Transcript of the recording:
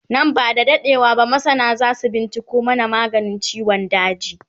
Nan ba da daɗewa ba masana zasu binciko mana maganin ciwon daji